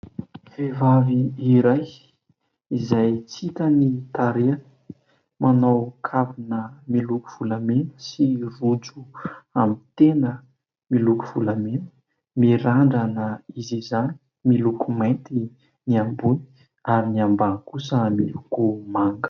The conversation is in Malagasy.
Vehivavy iray izay tsy hita ny tarehiny. Manao kavina miloko volamena sy rojo amin'ny tenda miloko volamena. Mirandrana izy izany, miloko mainty ny ambony, ary ny ambany kosa miloko manga.